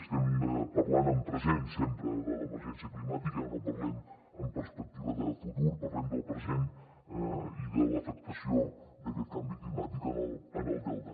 estem parlant en present sempre de l’emergència climàtica ja no parlem amb perspectiva de futur parlem del present i de l’afectació d’aquest canvi climàtic en el delta